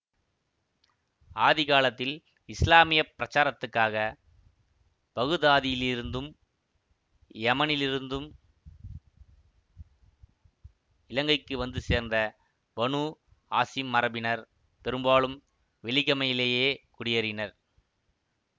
ஆதி காலத்தில் இஸ்லாமிய பிரச்சாரத்துக்காக பகுதாதிலிருந்தும் யெமனிலிருந்தும் இலங்கைக்கு வந்து சேர்ந்த பனூ ஹாசிம் மரபினர் பெரும்பாலும் வெலிகமையிலேயே குடியேறினர்